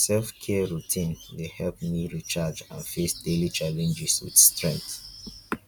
self-care routines dey help me recharge and face daily challenges with strength.